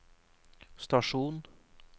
stasjon